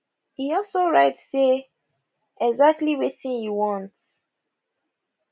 e also write say exactly wetin e want